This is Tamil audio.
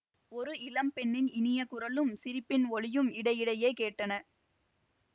ஒரு இளம் பெண்ணின் இனிய குரலும் சிரிப்பின் ஒலியும் இடையிடையே கேட்டன